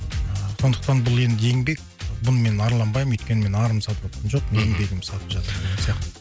сондықтан бұл енді еңбек бұны мен арланбаймын өйткені мен арымды сатыватқан жоқпын мхм еңбегімді сатып жатырмын деген сияқты